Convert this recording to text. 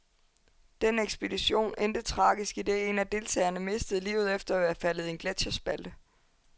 Den ekspedition endte tragisk, idet en af deltagerne mistede livet efter at være faldet i en gletscherspalte.